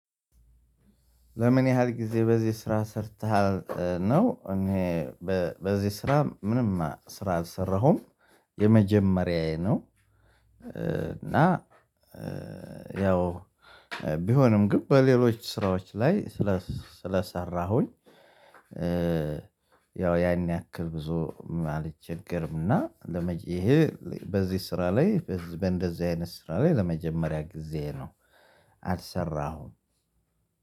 ልምን ያህል ግዜ በዚ ስራ ሰርተሃል ነው? እኔ በዚህ ስራ ምንም ስራ አልሰራሁም የመጀመሪያዬ ነው። እና ያው ቢሆንም ግን በሌሎች ስራዎች ላይ ስለሰራሁኝ። ያው ያን ያክል ብዙ አልቸገርም እና ለመጪ ይሄ በዚህ ስራ ላይ በእንደዚህ አይነት ስራ ላይ ለመጀመሪያ ጊዜ ነው። አልሰራሁም